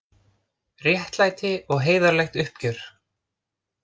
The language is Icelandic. Réttlæti og heiðarlegt uppgjör